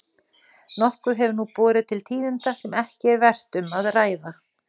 Nokkuð hefur nú borið til tíðinda sem ekki er vert um að ræða.